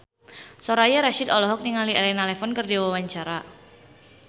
Soraya Rasyid olohok ningali Elena Levon keur diwawancara